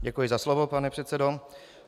Děkuji za slovo, pane předsedo.